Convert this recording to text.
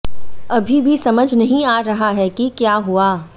अभी भी समझ नहीं आ रहा है कि क्या हुआ